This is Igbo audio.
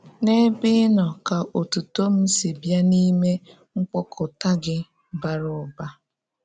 N’ebe Ị nọ, ka ótùtó m si bịa n’ime mkpókụ̀tà Gị bára ụ́ba.